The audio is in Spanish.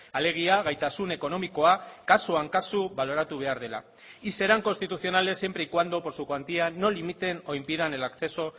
alegia gaitasun ekonomikoa kasuan kasu baloratu behar dela y serán constitucionales siempre y cuando por su cuantía no limiten o impidan el acceso